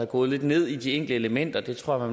gået lidt ned i de enkelte elementer det tror jeg